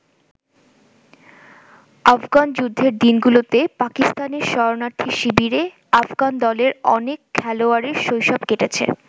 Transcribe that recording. আফগান যুদ্ধের দিনগুলোতে পাকিস্তানে শরণার্থী শিবিরে আফগান দলের অনেক খেলোয়াড়ের শৈশব কেটেছে।